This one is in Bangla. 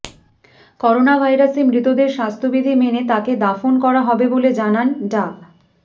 করোনাভাইরাসে মৃতদের স্বাস্থ্যবিধি মেনে তাকে দাফন করা হবে বলে জানান ডা